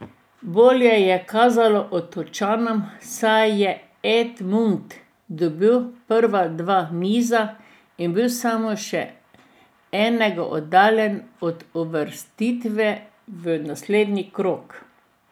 Bolje je kazalo Otočanom, saj je Edmund dobil prva dva niza in bil samo še enega oddaljen od uvrstitve v naslednji krog.